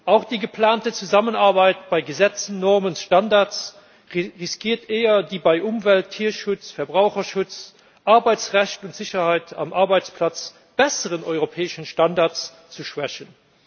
Auch die geplante Zusammenarbeit bei Gesetzen, Normen und Standards riskiert eher, die bei Umwelt, Tierschutz, Verbraucherschutz, Arbeitsrecht und Sicherheit am Arbeitsplatz besseren europäischen Standards zu schwächen.